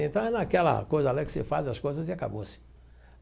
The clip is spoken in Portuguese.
Entra naquela coisa lá que você faz as coisas e acabou-se.